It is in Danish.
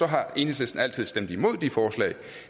har enhedslisten altid stemt imod de forslag